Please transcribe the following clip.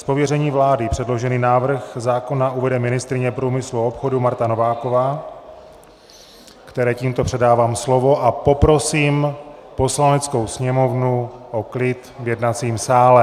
Z pověření vlády předložený návrh zákona uvede ministryně průmyslu a obchodu Marta Nováková, které tímto předávám slovo, a poprosím Poslaneckou sněmovnu o klid v jednacím sále.